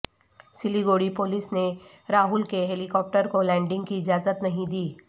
Siliguri police نے راہول کے helicopter کو لینڈنگ کی اجازت نہیں دی